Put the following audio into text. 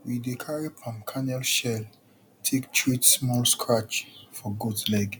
we dey carry palm kernel shell take treat small scratch for goat leg